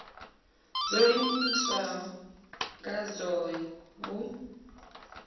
dzo iimisaho nga dzohe vhu